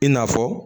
I n'a fɔ